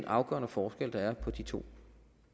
afgørende forskelle der er på de to